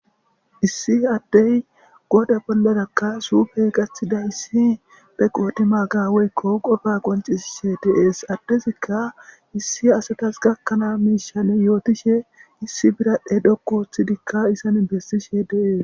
issi addey goda bolladakka suufey gathida issi be qoodi magaweykko qofa qoncisishe deees addezikka issi asetas gakkanaa miishan yootishe issi biradhe dhokku ththidikka isan bessishe deees